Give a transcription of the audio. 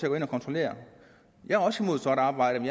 at gå ind og kontrollere jeg er også imod sort arbejde